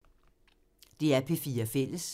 DR P4 Fælles